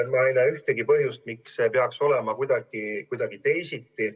Ma ei näe ühtegi põhjust, miks see peaks olema kuidagi teisiti.